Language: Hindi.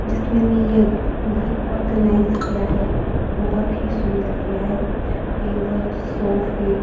जिसने भी ये घर ऑर्गेनाइज किया है बहुत ही सुंदर किया है टेबल सोफे --